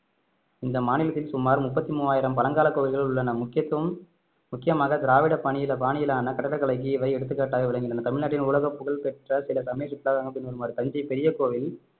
இந்த மாநிலத்தில் சுமார் முப்பத்தி மூவாயிரம் பழங்கால கோவில்கள் உள்ளன முக்கியத்துவம் முக்கியமாக திராவிட பணியில பாணியிலான கட்டிடக்கலைக்கு இவை எடுத்துக்காட்டாக விளங்கின தமிழ்நாட்டின் உலகப் புகழ் பெற்ற சில சமய சுற்றுலா தலங்கள் பின்வருமாறு தஞ்சை பெரிய கோவில்